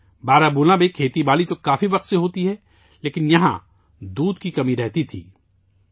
بارہمولہ میں طویل عرصے سے کھیتی باڑی کی جارہی ہے، لیکن یہاں دودھ کی قلت رہتی تھی